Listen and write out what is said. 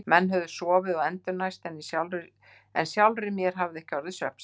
Menn höfðu sofið og endurnærst en sjálfri hafði mér ekki orðið svefnsamt.